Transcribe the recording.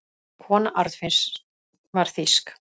Kona Arnfinns var þýsk.